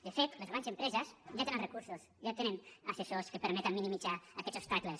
de fet les grans empreses ja tenen recursos ja tenen assessors que permeten minimitzar aquests obstacles